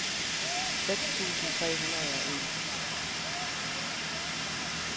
seks tusind tre hundrede og en